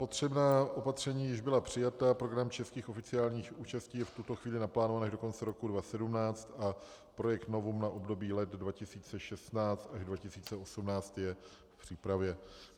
Potřebná opatření již byla přijata, program českých oficiálních účastí je v tuto chvíli naplánován až do konce roku 2017 a projekt Novum na období let 2016 až 2018 je v přípravě.